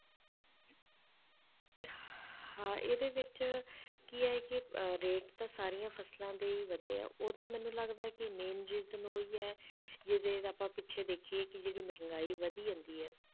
ਹਾਂ ਇਹਦੇ ਵਿੱਚ ਕੀ ਆ ਕਿ ਅਹ rate ਤਾਂ ਸਾਰੀਆਂ ਫਸਲਾਂ ਦੇ ਹੀ ਵਧੇ ਆ, ਉਹਦਾ ਮੈਨੂੰ ਲੱਗਦਾ ਹੈ ਕਿ main reason ਉਹੀ ਹੈ ਜਿੱਦਾਂ ਜਿੱਦਾਂ ਆਪਾਂ ਪਿੱਛੇ ਦੇਖੀਏ ਕਿ ਜਿਹੜੀ ਮਹਿੰਗਾਈ ਵਧੀ ਜਾਂਦੀ ਹੈ,